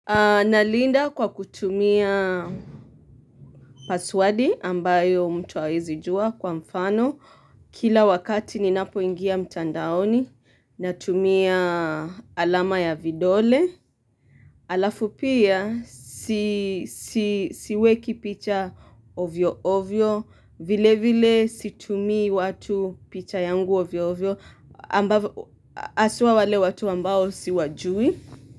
Nalinda kwa kutumia paswadi ambayo mtu hawezi jua kwa mfano. Kila wakati ninapo ingia mtandaoni natumia alama ya vidole. Alafu pia siweki picha ovyo ovyo. Vile vile situmii watu picha yangu ovyo ovyo. Haswa wale watu ambao siwajui.